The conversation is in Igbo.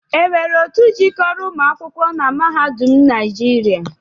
E nwere otu jikoro umuakwụkọ na mahadum naịjịria?